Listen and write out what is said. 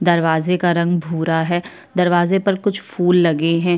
दरवाजे का रंग भूरा है दरवाजे पर कुछ फूल लगे है।